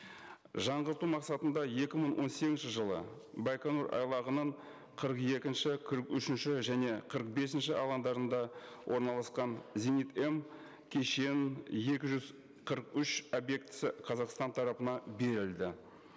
жаңғырту мақсатында екі мың он сегізінші жылы байқоңыр айлағының қырық екінші қырық үшінші және қырық бесінші алаңдарында орналасқан зенит м кешенінің екі жүз қырық үш объектісі қазақстан тарапына берілді